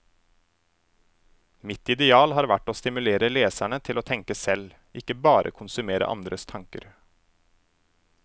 Mitt ideal har vært å stimulere leserne til å tenke selv, ikke bare konsumere andres tanker.